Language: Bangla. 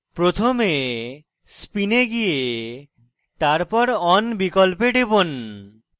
প্রথমে spin এ গিয়ে তারপর on বিকল্পে টিপুন